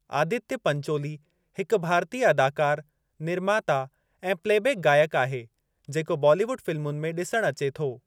आदित्य पंचोली हिकु भारतीअ अदाकारु, निर्माता ऐं प्लेबैक गायक आहे जेको बॉलीवुड फिल्मुनि में ॾिसण अचे थो।